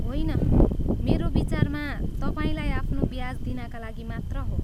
होइन, मेरो विचारमा, तपाईँलाई आफ्नो ब्याज दिनाका लागि मात्र हो।